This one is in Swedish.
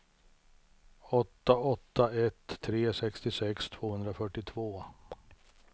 åtta åtta ett tre sextiosex tvåhundrafyrtiotvå